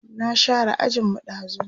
na share ajin mu ɗazun